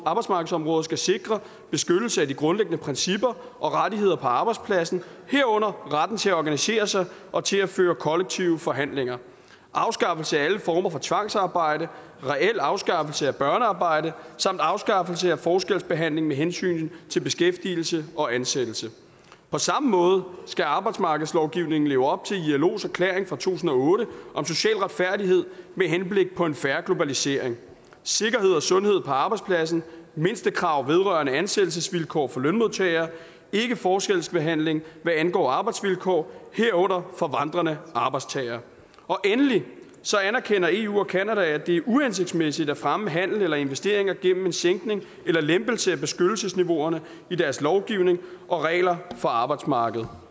arbejdsmarkedsområdet skal sikre beskyttelse af de grundlæggende principper og rettigheder på arbejdspladsen herunder retten til at organisere sig og til at føre kollektive forhandlinger afskaffelse af alle former for tvangsarbejde reel afskaffelse af børnearbejde samt afskaffelse af forskelsbehandling med hensyn til beskæftigelse og ansættelse på samme måde skal arbejdsmarkedslovgivningen leve op til ilos erklæring fra to tusind og otte om social retfærdighed med henblik på en fair globalisering sikkerhed og sundhed på arbejdspladsen mindstekrav vedrørende ansættelsesvilkår for lønmodtagere ikke forskelsbehandling hvad angår arbejdsvilkår herunder for vandrende arbejdstagere endelig anerkender eu og canada at det er uhensigtsmæssigt at fremme handel eller investeringer gennem en sænkning eller lempelse af beskyttelsesniveauerne i deres lovgivning og regler for arbejdsmarkedet